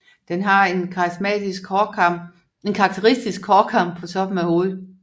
Den har en karakteristisk hårkam på toppen af hovedet